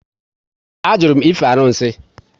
A jụrụ m ife arụsị